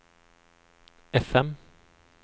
FM